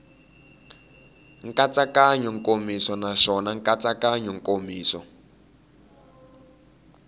nkatsakanyo nkomiso naswona nkatsakanyo nkomiso